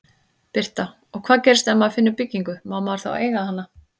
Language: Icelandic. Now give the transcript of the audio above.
Birta: Og hvað gerist ef maður finnur byggingu, má maður þá eiga hana?